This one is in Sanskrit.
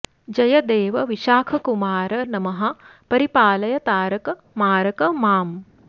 जय देव विशाखकुमार नमः परिपालय तारक मारक माम्